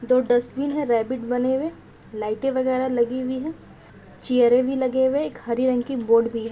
दो डस्टबिन है रेबिट बने हुए लाइटे वगेरह लगी हुई है चेयरे भी लगे हुए हैं एक हरे रंग की बोर्ड भी है।